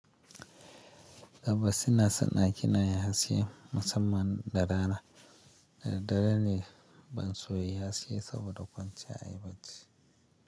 Abba suna sana'a kenan yasiyan masamman da rana. Da dare ne ban soya yyasai saboda kwanciya ayiba cci.